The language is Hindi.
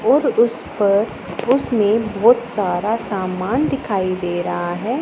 और उस पर उसमें बहोत सारा सामान दिखाई दे रहा है।